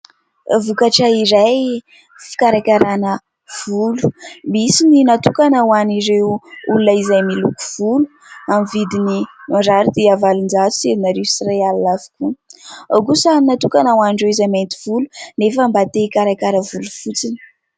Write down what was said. Vokatra iray fikarakarana volo. Misy ny natokana ho an'ireo olona izay miloko volo amin'ny vidiny mirary dia valonjato sy enina arivo sy iray alina avokoa. Ao kosa ny natokana ho an'ireo izay mainty volo nefa mba te hikarakara volo fotsiny